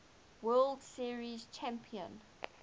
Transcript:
world series champion